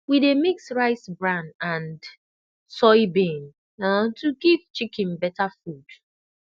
we dey mix rice bran and soybean um to give chicken better food